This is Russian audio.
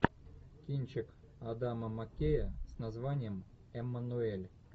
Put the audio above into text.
кинчик адама маккея с названием эммануэль